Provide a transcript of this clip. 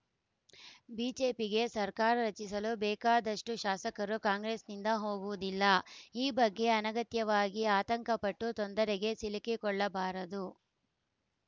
ಬಿಜೆಪಿಗೆ ಸರ್ಕಾರ ರಚಿಸಲು ಬೇಕಾದಷ್ಟುಶಾಸಕರು ಕಾಂಗ್ರೆಸ್‌ನಿಂದ ಹೋಗುವುದಿಲ್ಲ ಈ ಬಗ್ಗೆ ಅನಗತ್ಯವಾಗಿ ಆತಂಕ ಪಟ್ಟು ತೊಂದರೆಗೆ ಸಿಲುಕಿಕೊಳ್ಳಬಾರದು